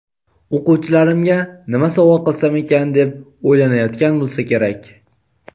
o‘quvchilarimga nima sovg‘a qilsam ekan deb o‘ylanayotgan bo‘lsa kerak.